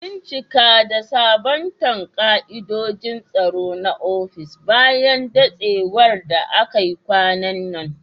Bincika da sabunta ka'idojin tsaro na ofis bayan datsewar da akai kwanan nan.